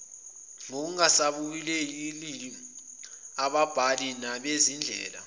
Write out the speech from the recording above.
kungasabalulekile ababhali banezindlela